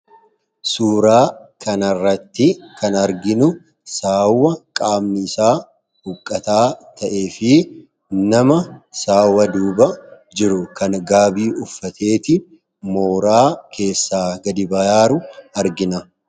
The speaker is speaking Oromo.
Suuraa kan irratti kan arginu saawwa qaamni isaa huqqataa ta'ee fi nama saawwa duuba jiru kan gaabii uffateeti mooraa keessaa gadi bahaaru argina.